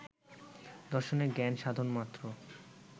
দর্শনে জ্ঞান সাধন মাত্র